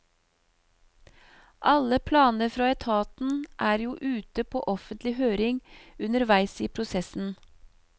Alle planer fra etaten er jo ute på offentlig høring underveis i prosessen.